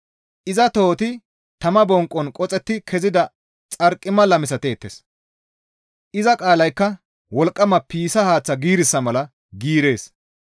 Iza tohoti tama bonqon qoxetti kezida xarqimala misateettes; iza qaalaykka wolqqama piissa haaththa giirissa mala giirees.